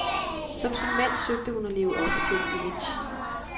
Som sin mand søgte hun at leve op til et image.